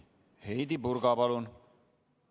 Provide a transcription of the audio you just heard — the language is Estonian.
Heidy Purga, palun!